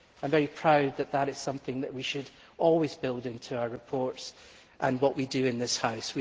I am very proud that this is something we should always build into our reports and whatever we do in this House.